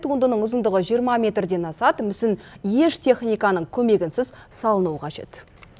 туындының ұзындығы жиырма метрден асады мүсін еш техниканың көмегінсіз салынуы қажет